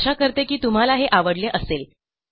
आशा करते की तुम्हाला हे आवडले असेल